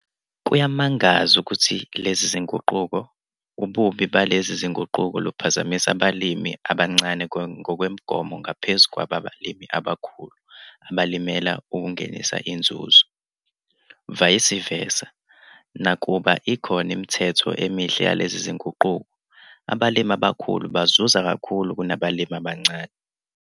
Kuyamangaza ukuthi lezi zinguquko, ububi balezi zinguquko luphazamisa abalimi abancane ngokwemigomo ngaphezulu kwabalimi abakhulu abalimela ukungenisa inzuzo. Vayisi vesa, nakuba ikhona imithelela emihle yalezi zinguquko, abalimi abakhulu bazuza kakhulu kunabalimi abancane.